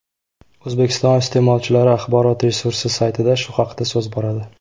O‘zbekiston iste’molchilari axborot resursi saytida shu haqda so‘z boradi .